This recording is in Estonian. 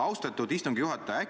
Austatud istungi juhataja!